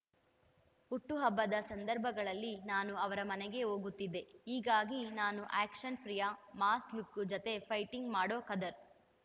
ಹುಟ್ಟು ಹಬ್ಬದ ಸಂದರ್ಭಗಳಲ್ಲಿ ನಾನು ಅವರ ಮನೆಗೆ ಹೋಗುತ್ತಿದ್ದೆ ಹೀಗಾಗಿ ನಾನೂ ಆ್ಯಕ್ಷನ್‌ ಪ್ರಿಯ ಮಾಸ್‌ ಲುಕ್ಕು ಜತೆ ಫೈಟಿಂಗ್‌ ಮಾಡೋ ಖದರ್‌